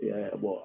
I y'a bɔ